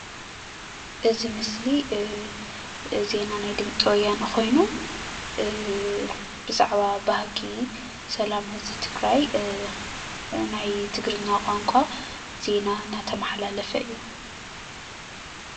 እዚ ምስሊ ዜና ናይ ድምፂ ወያነ ኮይኑ ብዛዕባ ባህጊ ሰላም ህዝቢ ትግራይ ናይ ትግርኛ ቋንቋ ዜና እናተመሓላለፈ እዩ፡፡